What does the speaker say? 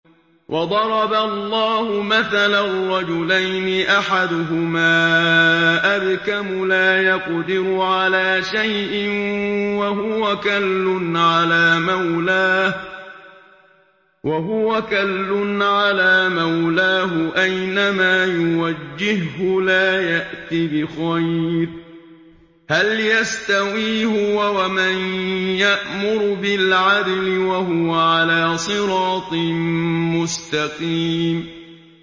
وَضَرَبَ اللَّهُ مَثَلًا رَّجُلَيْنِ أَحَدُهُمَا أَبْكَمُ لَا يَقْدِرُ عَلَىٰ شَيْءٍ وَهُوَ كَلٌّ عَلَىٰ مَوْلَاهُ أَيْنَمَا يُوَجِّههُّ لَا يَأْتِ بِخَيْرٍ ۖ هَلْ يَسْتَوِي هُوَ وَمَن يَأْمُرُ بِالْعَدْلِ ۙ وَهُوَ عَلَىٰ صِرَاطٍ مُّسْتَقِيمٍ